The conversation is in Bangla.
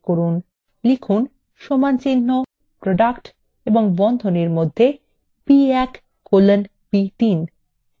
এখানে লিখুনproduct এবং বন্ধনীর মধ্যে b1colon b3